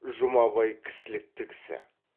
жұмабай кісілікті кісі